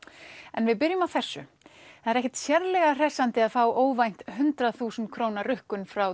en við byrjum á þessu það er ekkert sérlega hressandi að fá óvænt hundrað þúsund króna rukkun frá